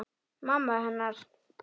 Mamma hennar.